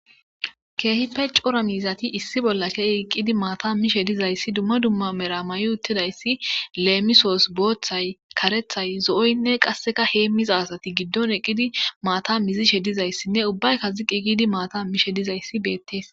keehipe cora miizati issi bolla keeh eqqidi maata mishe dizayssi dumma dumma mera ma7i uttidayssi leemisoos booththay karethay zo7oynne qasseka heemmiza sati giddon eqqidi maata mizishe dizayssinne ubbayka ziqi giidi maata mishe dizayssi beettees